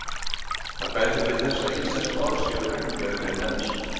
Það bendir til þess að íslensk orð séu reglulegri en ensk.